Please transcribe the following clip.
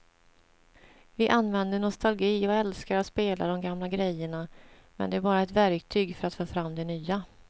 Vi använder nostalgi och älskar att spela de gamla grejerna men det är bara ett verktyg för att få fram det nya.